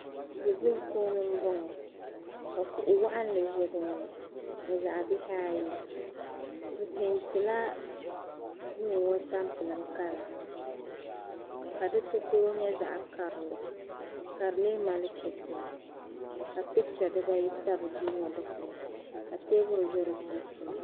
ʒijuŋ puuni n bɔŋɔ ka kuɣi waɣinli ʒa dinni ni zaɣi bihi ayi bɛ peenti laduuŋɔ tampilim kala kadi takoro. nya zaɣi karili ka dimi mali kichin ka picha diba yi tabi di kpuni ka teebuli ʒa di sunsuuni